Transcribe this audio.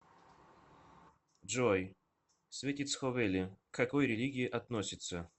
джой светицховели к какой религии относится